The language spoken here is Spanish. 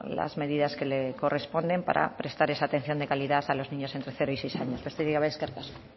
las medidas que le corresponden para prestar esa atención de calidad a los niños entre cero y seis años besterik gabe eskerrik asko